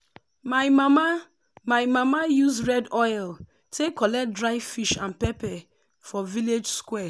my mama my mama use red oil take collect dry fish and pepper for village square.